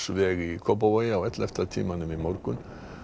í Kópavogi á ellefta tímanum í morgun